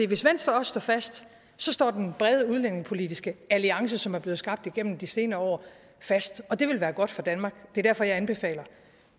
hvis venstre også står fast står den brede udlændingepolitiske alliance som er blevet skabt igennem de senere år fast og det vil være godt for danmark det er derfor jeg anbefaler